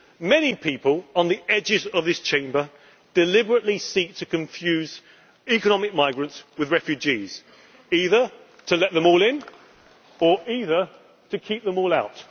example. Many people on the edges of this Chamber deliberately seek to confuse economic migrants with refugees, either to let them all in or to keep them